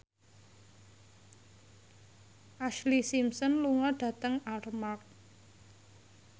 Ashlee Simpson lunga dhateng Armargh